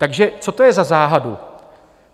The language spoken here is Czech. Takže co to je za záhadu?